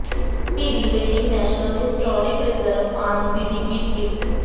ਐਬੀ ਦੀ landing national historic reserve on Whidbey ਟਾਪੂ